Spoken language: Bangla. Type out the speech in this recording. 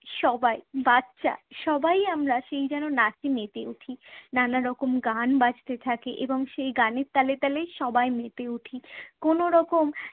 সবাই বাচ্চা সবাই আমরা সেই যেন নাচে মেতে উঠি। নানা রকম গান বাজতে থাকে এবং সেই গানের তালে তালেই সবাই মেতে উঠি। কোনোরকম